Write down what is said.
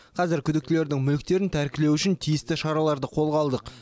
қазір күдіктілердің мүліктерін тәркілеу үшін тиісті шараларды қолға алдық